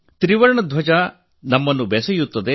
ತ್ರಿವರ್ಣ ಧ್ವಜ ನಮ್ಮನ್ನು ಬೆಸೆಯುತ್ತದೆ